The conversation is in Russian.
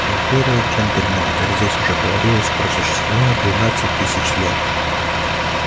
империя джентльмены как здесь уже говорилось просуществовала двенадцать тысяч лет